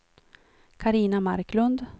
Carina Marklund